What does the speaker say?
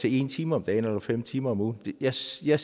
en time om dagen eller fem timer om ugen jeg ser